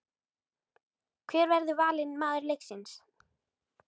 Hver verður valinn maður leiksins?